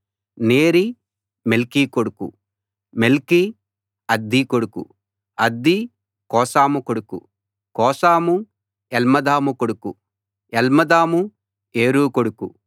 Neri Melchi కొడుకు Melchi Addi కొడుకు Addi Cosam కొడుకు కోసాము ఎల్మదాము కొడుకు ఎల్మదాము ఏరు కొడుకు